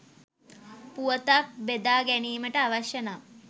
පුවතක් බෙදා ගැනීමට අවශ්‍ය නම්